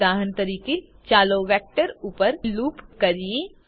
ઉદાહરણ તરીકે ચાલો વેક્ટર ઉપર લુપ કરીએ